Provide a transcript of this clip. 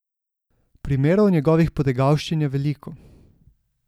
Primerov njegovih potegavščin je veliko.